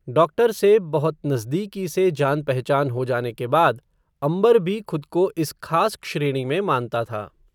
doctor से, बहुत नज़दीकी से, जान पहचान हो जाने के बाद, अंबर भी, खुद को इस खास श्रेणी में, मानता था